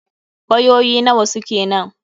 Wayoyi nawa suke nan?